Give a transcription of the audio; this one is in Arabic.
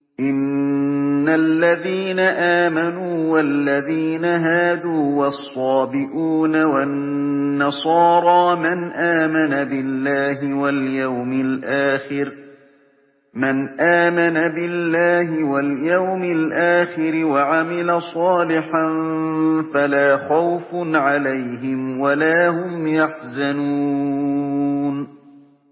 إِنَّ الَّذِينَ آمَنُوا وَالَّذِينَ هَادُوا وَالصَّابِئُونَ وَالنَّصَارَىٰ مَنْ آمَنَ بِاللَّهِ وَالْيَوْمِ الْآخِرِ وَعَمِلَ صَالِحًا فَلَا خَوْفٌ عَلَيْهِمْ وَلَا هُمْ يَحْزَنُونَ